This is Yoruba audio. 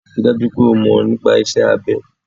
Ri dájú pé o mọ̀ nípa iṣẹ́ abẹ.